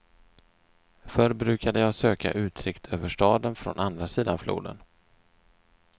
Förr brukade jag söka utsikt över staden från andra sidan floden.